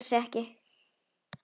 Það borgar sig ekki